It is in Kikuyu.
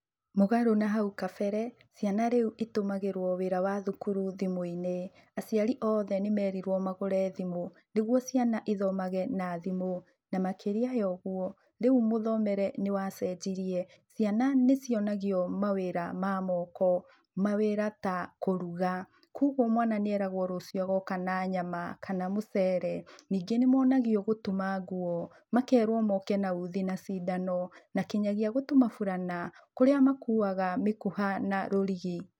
Mũgarũ na hau kabere, ciana rĩu itũmagĩrũo wĩra wa thukuru thimũ-inĩ. Aciari oothe nĩmerirũo magũre thimũ, nĩguo ciana ithomage na thimũ, na makĩria ya ũguo, rĩu mũthomere nĩwacenjirie. Ciana nicionagio mawĩra ma moko. Mawĩra ta kũruga. Kuoguo mwana nĩeragwo rũcio agoka na nyama, kana mũcere. Ningĩ nĩmonagio gũtuma nguo. Makerwo moke na uthi na cindano, na kinyagia gũtuma burana, kũria makuaga mĩkuha na rũrigi.